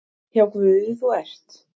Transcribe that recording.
Hjá Guði þú ert.